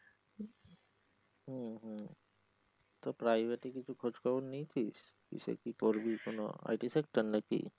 হম হম তো private কিছু খোজ খবর নেয়েছিস কিসে কি করবি কোন IT sector নাকি?